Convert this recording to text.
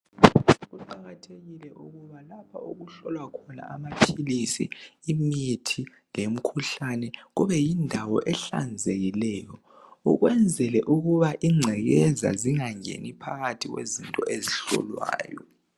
Kuqakathekile ukuba lapha okuhlolwa khona amaphilisi imithi lemkhuhlane kube yindawo ehlanzekileyo ukwenzele ukuba incekeza zingangeni phakathi kwezinto ezihlolwayo.